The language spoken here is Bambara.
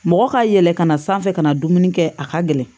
Mɔgɔ ka yɛlɛ ka na sanfɛ ka na dumuni kɛ a ka gɛlɛn